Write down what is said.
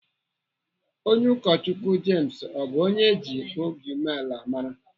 Onye Ụkọchukwu James ọ bụ onye eji obi umeala mara?